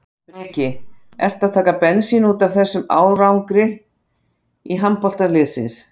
Breki: Ertu að taka bensín útaf þessum árangri handboltalandsliðsins?